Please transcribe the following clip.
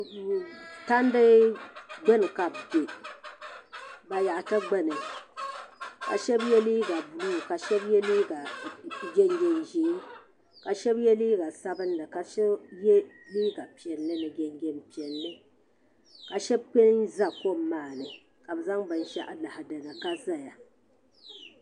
Shintani n bɛni ka bi kpuɣi kuɣusi ni bi fiɛbi taba ka shɛba yɛ liiga piɛlla ni kootu ka zaŋ bin yara sɔŋ sɔŋ ka shɛba yɛ liiga dozim di pa dozim naayi.